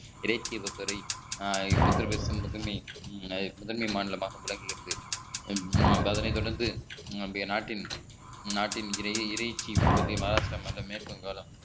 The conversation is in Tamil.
இடை துறை உத்தரபிரதேசம் முதன்மை முதன்மை மாநிலமாக விளங்குகிறது அதனைத் தொடர்ந்து நம்முடைய நாட்டின் நாட்டின் இடையே இறைச்சி உற்பத்தி மஹாராஷ்டிர மாநிலம் மேற்கு வங்காளம்